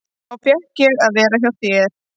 Þá fékk ég að vera hjá þér.